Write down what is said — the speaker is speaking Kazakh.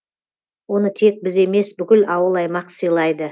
оны тек біз емес бүкіл ауыл аймақ сыйлайды